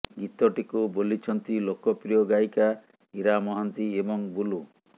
ଗୀତଟିକୁ ବୋଲିଛନ୍ତି ଲୋକପ୍ରିୟ ଗାୟିକା ଇରା ମହାନ୍ତି ଏବଂ ବୁଲୁ